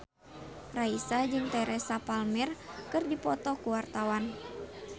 Raisa jeung Teresa Palmer keur dipoto ku wartawan